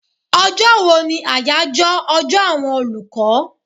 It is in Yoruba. Ọjọ́ wo ni àyájọ́ ọjọ́ àwọn olùkọ́?